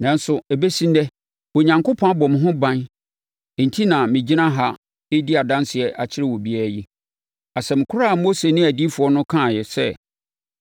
Nanso, ɛbɛsi ɛnnɛ, Onyankopɔn abɔ me ho ban enti na megyina ha redi adanseɛ akyerɛ obiara yi. Asɛm korɔ a Mose ne adiyifoɔ no kaa sɛ,